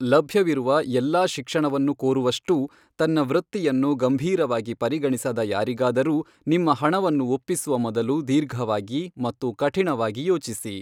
ಲಭ್ಯವಿರುವ ಎಲ್ಲಾ ಶಿಕ್ಷಣವನ್ನು ಕೋರುವಷ್ಟೂ ತನ್ನ ವೃತ್ತಿಯನ್ನು ಗಂಭೀರವಾಗಿ ಪರಿಗಣಿಸದ ಯಾರಿಗಾದರೂ ನಿಮ್ಮ ಹಣವನ್ನು ಒಪ್ಪಿಸುವ ಮೊದಲು ದೀರ್ಘವಾಗಿ ಮತ್ತು ಕಠಿಣವಾಗಿ ಯೋಚಿಸಿ.